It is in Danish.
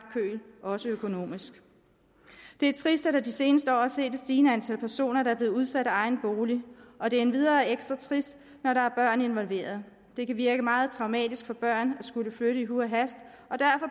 køl også økonomisk det er trist at vi de seneste år har set et stigende antal personer blive udsat af egen bolig og det er endvidere ekstra trist når der er børn involveret det kan virke meget traumatisk for børn at skulle flytte i huj og hast